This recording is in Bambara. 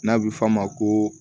N'a bɛ f'a ma ko